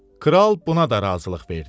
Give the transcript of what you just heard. Kral buna da razılıq verdi.